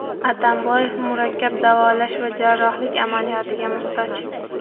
Atamboyev murakkab davolash va jarrohlik amaliyotiga muhtoj.